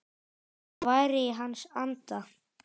Það væri í hans anda.